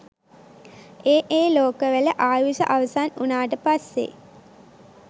ඒ ඒ ලෝකවල ආයුෂ අවසන් වුණාට පස්සේ